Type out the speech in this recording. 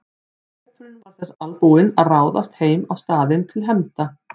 Hópurinn var þess albúinn að ráðast heim á staðinn til hefnda.